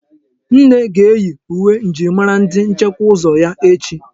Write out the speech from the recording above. Nne ga-eyi uwe njirimara ndi nchekwa ụzọ ya echi.